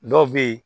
Dɔw bɛ yen